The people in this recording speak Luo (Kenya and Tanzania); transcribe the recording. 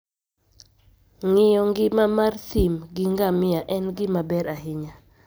Ng'iyo ngima mar thim gi ngamia en gima ber ahinya.